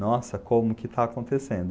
Nossa, como que está acontecendo?